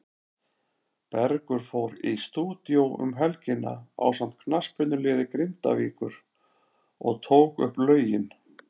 Bergur fór í stúdíó um helgina ásamt knattspyrnuliði Grindavíkur og tók upp lögin.